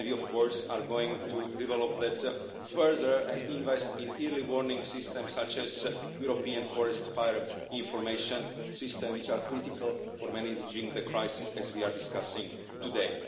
We are, of course, going to develop that further and invest in early warning systems, such as the European Forest Fire Information System, which are critical for managing the crisis, as we are discussing today.